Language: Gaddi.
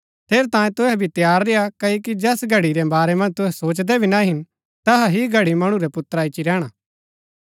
ठेरैतांये तुहै भी तैयार रेय्आ क्ओकि जैस घड़ी रै वारै मन्ज तुहै सोचदै भी ना हिन तैहा ही घड़ी मणु रै पुत्रा ईच्ची रैहणा